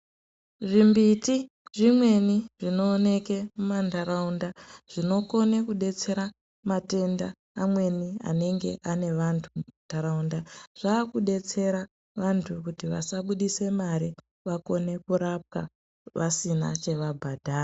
Zvimbiti zvimweni zvinooneke mumandaraunda zvinokone kudetsera matenda amweni anenge ane vandu mumandaraunda zvakudetsera andu kuti vasabudisa mari vakone kurapwa vasina chavabhadhara.